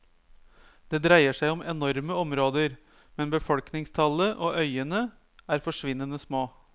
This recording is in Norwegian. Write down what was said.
Det dreier seg om enorme områder, men befolkningstallet og øyene er forsvinnende små.